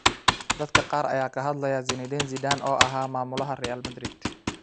Dadka qaar ayaa ka hadlaya Zinedine Zidane oo ahaa maamulaha Real Madrid.